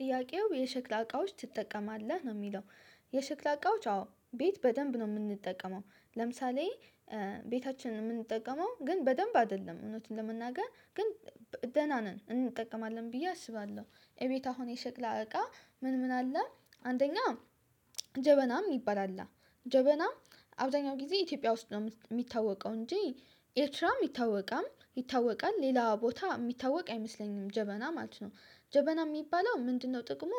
ጥያቄው የሸክላ እቃዎች ትጠቀማለህ? ነው የሚለው የሸክላ እቃዎች አዎ ቤት በደንብ ነው የምንጠቀመው። ለምሳሌ ቤታችን የምንጠቀመው ግን በደንብ አይደለም እውነት ለመናገር ግን ደህና ነን እንጠቀማለን ብዬ አስባለሁ እቤት አሁን የሸክላ እቃ ምን ምን አለ አንደኛ ጀበናም የሚአል አለ። ጀበና አብዛኛውን ጊዜ ኢትዮጵያ ውስጥ ነው የሚታወቀው እንጂ ኤርትራም ይታወቃል። ሌላ ቦታ የሚታወቅ አይመስለኝም ጀበና ማለት ነው። ጀበና የሚባለው ምንድነው ጥቅሙ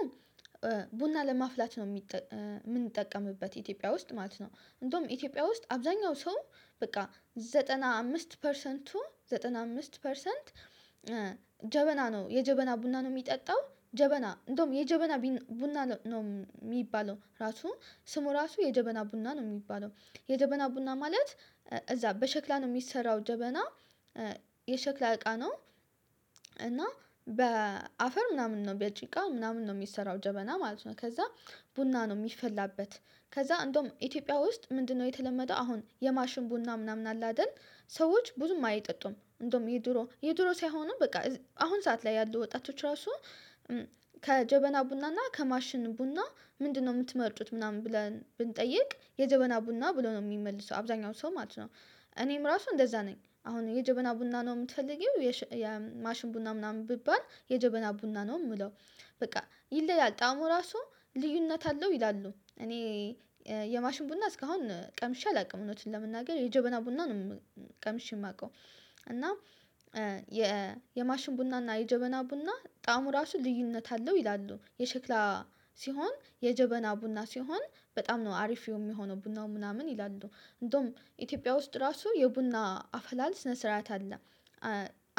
ቡና ለማፍላት ነው የምንጠቀምበት ኢትዮጵያ ውስጥ ማለት ነው እንደውም ኢትዮጵያ ውስጥ አብዛኛው ሰው በቃ ዘጠና አምስት ፐርሰንቱ ዘጠና አምስት ፐርሰንት ጀበና ነው የጀበና ቡና ነው የሚጠጣው ጀበና እንደውም የጀበና ቡና ነው የሚባለው ራሱ ስሙ ራሱ የጀበና ቡና ነው የሚባለው የጀበና ቡና ማለት እዛ በሸክላ ነው የሚሰራው ጀበና የሸክላ እቃ ነው እና በአፈር ምናምን ነው በጭቃ ምናምን ነው የሚሰራው ጀበና ማለት ነው ከዛ ቡና ነው የሚፈላበት ከዛ እንደውም ኢትዮጵያ ውስጥ ምንድነው የተለመደው አሁን የማሽን ቡና ምናምን አለ አይደል ሰዎች ብዙም አይጠጡም እንደውም የድሮ የድሮ ሳይሆኑም በቃ አሁን ሰዓት ላይ ያሉ ወጣቶች ራሱ ከጀበና ቡና እና ከማሽን ቡና ምንድነው የምትመርጡት ምናምን ብለን ብንጠይቅ የጀበና ቡና ብለው ነው የሚመልሰው አብዛኛው ሰው ማለት ነው እኔም ራሱ እንደዛ ነኝ አሁን የጀበና ቡና ነው የምትፈልጊው የማሽን ቡና ምናምን ብባል የጀበና ቡና ነው የምለው። በቃ ይለያል ጣዕሙ ራሱ ልዩነት አለው ይላሉ እኔ የማሽን ቡና እስካሁን ቀምሼ አላውቅም እውነቱን ለመናገር የጀበና ቡና ነው ቀምሼ የማውቀው እና የማሽን ቡና እና የጀበና ቡና ጣዕሙ ራሱ ልዩነት አለው ይላሉ የሸክላ ሲሆን የጀበና ቡና ሲሆን በጣም ነው አሪፍ የሚሆነው ቡናው ምናምን ይላሉ እንደውም ኢትዮጵያ ውስጥ ራሱ የቡና አፈላል ስነ ስርዓት አለ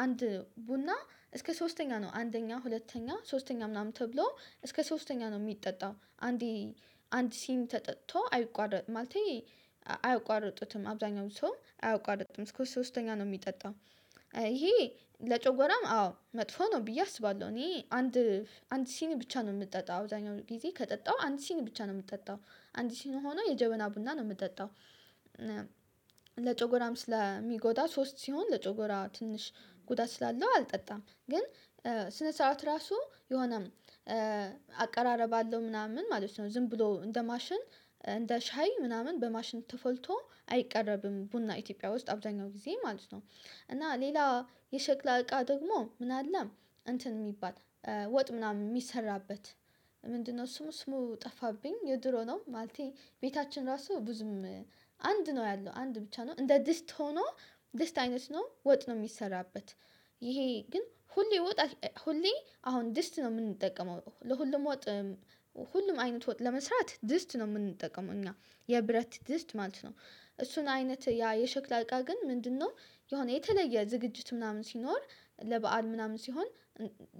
አንድ ቡና እስከ ሶስተኛ ነው አንደኛ ሁለተኛ ሶስተኛ ምናምን ተብሎ እስከ ሶስተኛ ነው የሚጠጣው አንዲ አንድ ሲኒ ተጠጥቶ አይቋረጥም ማለቴ አያቋርጡትም አብዛኛው ሰው አያቋርጡትም እስከ ሶስተኛ ነው የሚጠጣው ይሄ ለጨጓራም አዎ መጥፎ ነው ብዬ አስባለሁ እኔ አንድ አንድ ሲኒ ብቻ ነው የምጠጣው አብዛኛውን ጊዜ ከጠጣው አንድ ሲኒ ብቻ ነው የምጠጣው አንድ ሲኒ ሆኖ የጀበና ቡና ነው የምጠጣው ለጨጓራም ስለሚጎዳ ሶስት ሲሆን ለጨጓራ ትንሽ ጉዳት ስላለው አልጠጣም ግን ስነ ስርዓቱ ራሱ የሆነ አቀራረብ አለው ምናምን ማለት ነው ዝም ብሎ እንደ ማሽን እንደ ሻይ ምናምን በማሽን ተፈልቶ አይቀረብም ቡና ኢትዮጵያ ውስጥ አብዛኛውን ጊዜ ማለት ነው እና ሌላ የሸክላ እቃ ደግሞ ምን አለ እንትን የሚባል ወጥ ምናምን የሚሰራበት ምንድነው ስሙ ስሙ ጠፋብኝ የድሮ ነው ማለቴ ቤታችን ራሱ ብዙም አንድ ነው ያለው አንድ ብቻ ነው እንደ ድስት ሆኖ ድስት አይነት ነው ወጥ ነው የሚሰራበት ይሄ ግን ሁሌ ወጥ ሁሌ አሁን ድስት ነው የምንጠቀመው ለሁሉም ወጥ ሁሉም አይነት ወጥ ለመስራት ድስት ነው የምንጠቀመው እኛ የብረት ድስት ማለት ነው እሱን አይነት ያ የሸክላ እቃ ግን ምንድነው የሆነ የተለየ ዝግጅት ምናምን ሲኖር ለበአል ምናምን ሲሆን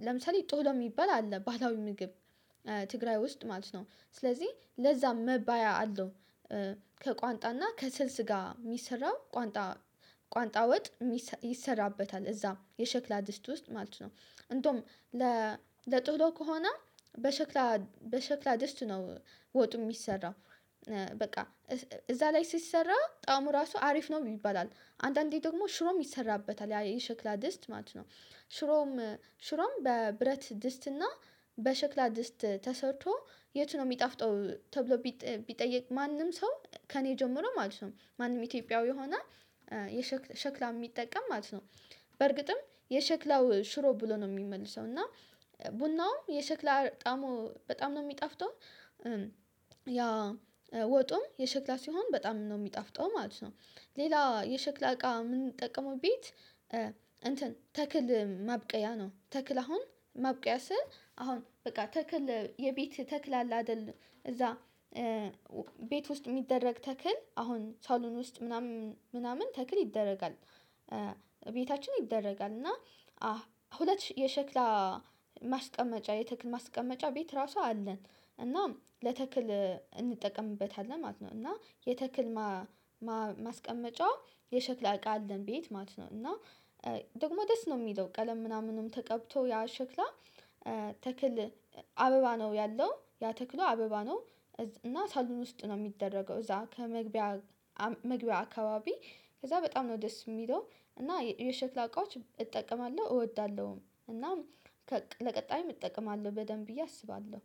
ለምሳሌ ጥህሎ የሚባል አለ ባህላዊ ምግብ ትግራይ ውስጥ ማለት ነው ስለዚህ ለዛ መባያ አለው ከቋንጣና ከስልስ ጋር የሚሰራው ቋንጣ ቋንጣ ወጥ ይሰራበታል እዛ የሸክላ ድስት ውስጥ ማለት ነው እንደውም ለጥህሎ ከሆነ በሸክላ በሸክላ ድስት ነው ወጡ የሚሰራው በቃ እዛ ላይ ሲሰራ ጣዕሙ ራሱ አሪፍ ነው ይባላል አንዳንዴ ደግሞ ሽሮም ይሰራበታል ያ የሸክላ ድስት ማለት ነው ሽሮም ሽሮም በብረት ድስትና በሸክላ ድስት ተሰርቶ የቱ ነው የሚጣፍጠው ተብሎ ቢጠየቅ ማንም ሰው ከእኔ ጀምሮ ማለት ነው ማንም ኢትዮጵያዊ የሆነ ሸክላ የሚጠቀም ማለት ነው በርግጥም የሸክላው ሽሮ ብሎ ነው የሚመልሰው እና ቡናውም የሸክላ ጣዕሙ በጣም ነው የሚጣፍጠው ያ ወጡም የሸክላ ሲሆን በጣም ነው የሚጣፍጠው ማለት ነው ሌላ የሸክላ እቃ የምንጠቀመው ቤት እንትን ተክል ማብቀያ ነው ተክል አሁን ማብቀያ ስል አሁን በቃ ተክል የቤት ተክል አለ አይደል እዛ ቤት ውስጥ የሚደረግ ተክል አሁን ሳሎን ውስጥ ምናምን ተክል ይደረጋል ቤታችን ይደረጋል እና ሁለት የሸክላ ማስቀመጫ የተክል ማስቀመጫ ቤት ራሱ አለን እና ለተክል እንጠቀምበታለን ማለት ነው እና የተክል ማስቀመጫው የሸክላ እቃ አለን ቤት ማለት ነው እና ደግሞ ደስ ነው የሚለው ቀለም ምናምንም ተቀብቶ ያ ሸክላ ተክል አበባ ነው ያለው ያ ተክሉ አበባ ነው እና ሳሎን ውስጥ ነው የሚደረገው እዛ ከመግቢያ መግቢያ አካባቢ ከዛ በጣም ነው ደስ የሚለው እና የሸክላ እቃዎች እጠቀማለሁ እወዳለሁም እና ለቀጣይም እጠቀማለሁ በደንብ ብዬ አስባለሁ።